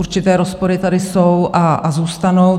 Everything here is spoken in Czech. Určité rozpory tady jsou a zůstanou.